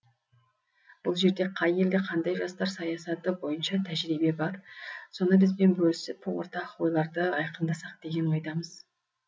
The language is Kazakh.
бұл жерде қай елде қандай жастар саясаты бойынша тәжірибе бар соны бізбен бөлісіп ортақ ойларды айқындасақ деген ойдамыз